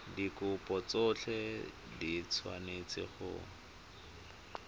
dikopo tsotlhe di tshwanetse go